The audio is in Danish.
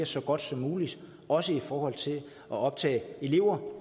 så godt som muligt også i forhold til at optage elever